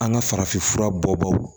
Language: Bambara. An ka farafinfura bɔ baw